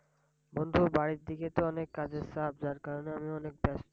বন্ধু বাড়ির দিকে তো অনেক কাজের চাপ, যার কারনে আমি অনেক ব্যস্ত।